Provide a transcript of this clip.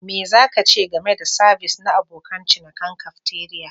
Me za ka ce game da sabis na abokan cinikin cafeteria?